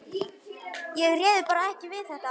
Ég réði bara ekki við þetta.